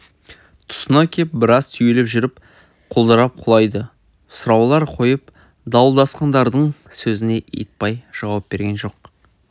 тұсына кеп біраз түйіліп жүріп құлдырап құлайды сұраулар қойып дуылдасқандардың сөзіне итбай жауап берген жоқ